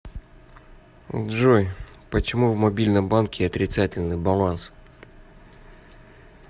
джой почему в мобильном банке отрицательный баланс